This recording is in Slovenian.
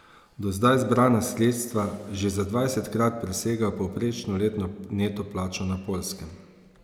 Do zdaj zbrana sredstva že za dvajsetkrat presegajo povprečno letno neto plačo na Poljskem.